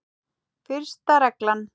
Fyrsta reglan.